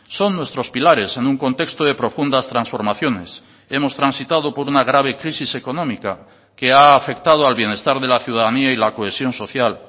son nuestros pilares en un contexto de profundas transformaciones hemos transitado por una grave crisis económica que ha afectado al bienestar de la ciudadanía y la cohesión social